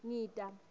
ngita